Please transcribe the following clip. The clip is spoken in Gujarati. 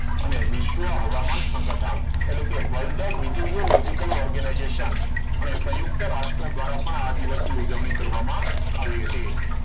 અને વિશ્વ હવામાન સંગઠન એટલે કે world meteorological organization અને સંયુક્ત રાષ્ટ્ર દ્વારા પણ આ દિવસને ઉજવણી કરવામાં આવી હતી.